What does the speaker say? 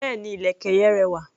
Béèni, ìlẹ̀kẹ̀ yen rẹwà.